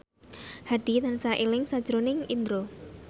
Hadi tansah eling sakjroning Indro